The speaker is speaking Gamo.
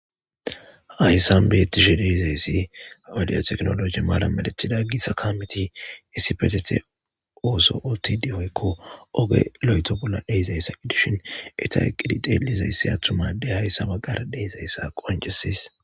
hayssan beetishe deeizayssi audiyoteknologi maalamalethida gisa kamiti issi petete ooso ooti dihoykko ogelo7eto bolla deizayssa edishin eta qiditelizayssi attumade hayssaba gara deezayssa qoncesis